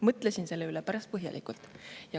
Mõtlesin selle üle päris põhjalikult.